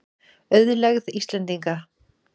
Auðlegð Íslendinga.